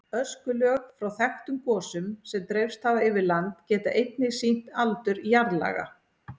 Öskulög frá þekktum gosum sem dreifst hafa yfir land geta einnig sýnt aldur jarðlaga.